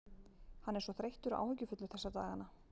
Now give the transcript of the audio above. Hann er svo þreyttur og áhyggjufullur þessa dagana.